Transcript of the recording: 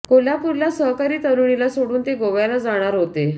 कोल्हापूरला सहकारी तरुणीला सोडून ते गोव्याला जाणार होते